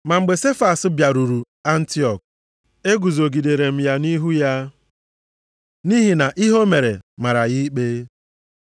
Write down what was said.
Ma mgbe Sefas bịaruru Antiọk, eguzogidere m ya nʼihu ya, nʼihi na ihe o mere mara ya ikpe.